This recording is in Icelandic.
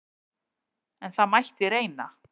En það mætti reyna!